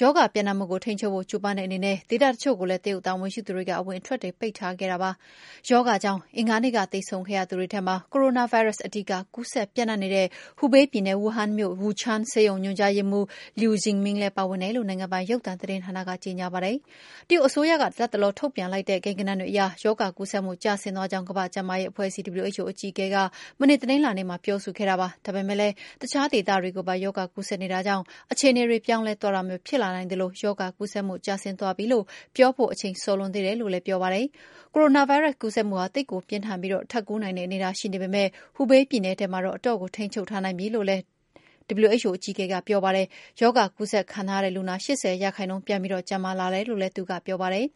ရောဂါပြန့်နှံ့မှုကို ထိန်းချုပ်ဖို့ ကြိုးပမ်းတဲ့အနေနဲ့ ဒေသတချို့ကိုလည်း တရုတ်တာဝန်ရှိသူတွေက အဝင်အထွက်ပိတ်ထားခဲ့တာပါ။ ရောဂါကြောင့် အင်္ဂါနေ့က သေဆုံးခဲ့သူတွေထဲမှာ ကိုရိုနာဗိုင်းရပ်စ် အဓီက ကူးစက်ပြန့်နှံ့ခဲ့တဲ့ ဟူဘေးပြည်နယ်၊ ဝူဟန်မြို့ ဝူချန်းဆေးရုံညွှန်ကြားရေးမှုး Liu Zhiming လည်းပါဝင်တယ်လို့ နိုင်ငံပိုင်ရုပ်သံသတင်းဌာနက ကြေညာခဲ့ပါတယ်။ တရုတ်အစိုးရက ထုတ်ပြန်တဲ့ လတ်တလော ကိန်းဂဏန်းတွေအရ ရောဂါကူးစက်မှု ကျဆင်းသွားကြောင်း ကမ္ဘာ့ကျန်းမာရေးအဖွဲ့ချုပ် (WHO) အကြီးအကဲ Tedros Adhanom Ghebreyesus က တနင်္လာနေ့မှာ ပြောဆိုခဲ့ပါတယ်။ ဒါပေမယ့်လည်း အခြားဒေသတွေကိုပါ ရောဂါကူးစက်နေတာကြောင့် အခြေအနေတွေ ပြောင်းလဲသွားတာမျိုးဖြစ်လာနိုင်သလို ရောဂါကူးစက်မှု ကျဆင်းသွားပြီလို့ ပြောဖို့ အချိန်စောလွန်းသေးတယ်လို့လည်း ပြောဆိုခဲ့တာပါ။ ကိုရိုနာဗိုင်းရပ်စ်ကူးစက်မှုဟာ သိပ်ကိုပြင်းထန်ပြီး ထပ်ကူး နိုင်တဲ့အနေအထားရှိနေပေမယ့် ဟူဘေးပြည်နယ်မှာတော့ အတော့်ကို ထိန်းချုပ်ထားနိုင်ပြီလို့လည်း ဒေါက်တာ Tedros ကပြောဆိုခဲ့ပါတယ်။ ရောဂါကူးစက်ခံထားရတဲ့လူနာ ၈၀ % ပြန်ပြီးကျန်းမာလာတယ်လို့လည်း သူကပြောပါတယ်